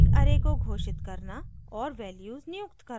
* एक array को घोषित करना और values नियुक्त करना